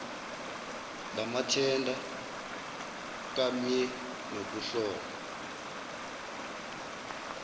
lamathenda kamye nokuhlolwa